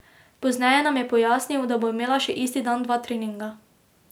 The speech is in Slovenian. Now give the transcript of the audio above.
Pozneje nam je pojasnil, da bo imela še isti dan dva treninga.